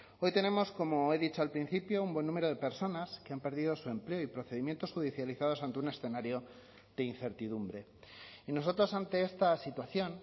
hoy tenemos como he dicho al principio un buen número de personas que han perdido su empleo y procedimientos judicializados ante un escenario de incertidumbre y nosotros ante esta situación